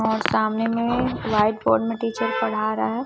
और सामने में व्हाइट बोर्ड में टीचर पढ़ा रहा है।